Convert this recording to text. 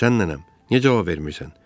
Sən nənəm, niyə cavab vermirsən?